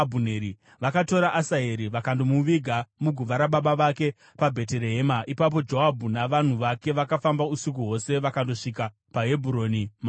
Vakatora Asaheri vakandomuviga muguva rababa vake paBheterehema. Ipapo Joabhu navanhu vake vakafamba usiku hwose vakandosvika paHebhuroni mambakwedza.